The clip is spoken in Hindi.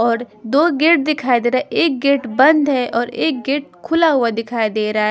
और दो गेट दिखाई दे रहा है एक गेट बंद है और एक गेट खुला हुआ दिखाई दे रहा है।